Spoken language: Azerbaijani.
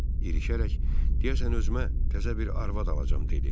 İrişərək, deyəsən özümə təzə bir arvad alacam dedi.